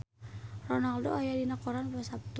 Ronaldo aya dina koran poe Saptu